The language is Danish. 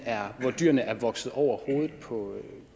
er vokset over hovedet